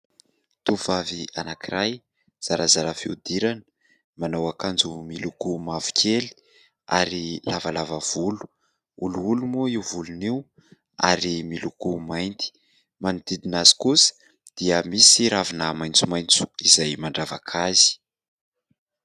Tovovavy anankiray zarazara fiodirana manao akanjo miloko mavokely ary lavalava volo olioly moa io volony io ary miloko mainty. Manodidina azy kosa dia misy ravina maitsomaintso izay mandravaka azy.